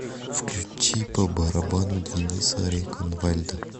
включи по барабану дениса реконвальда